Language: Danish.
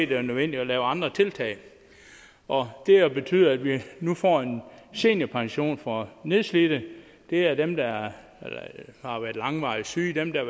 det var nødvendigt at lave andre tiltag og det har betydet at vi nu får en seniorpension for nedslidte det er dem der har været langvarigt syge dem der